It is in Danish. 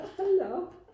Hold da op